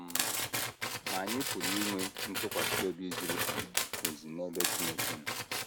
um Ma anyị pụrụ inwe ntụkwasị obi zuru um ezu n’ebe Chineke nọ.